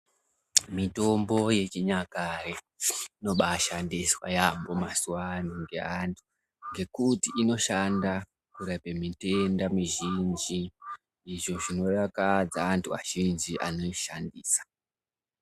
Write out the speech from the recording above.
Mitombo yechinyakare inobashandiswa yambo mazuva ano nekuti inoshanda kurapa mitenda mizhinji izvi zvinodakadza antu azhinji anoishandisa.